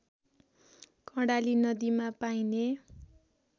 कर्णाली नदीमा पाइने